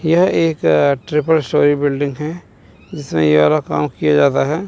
यह एक triple storey building है जिसमें ये वाला काम किया जाता है।